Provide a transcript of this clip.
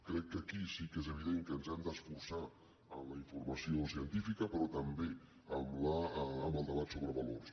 crec que aquí sí que és evident que ens hem d’esforçar en la informació científica però també en el debat sobre valors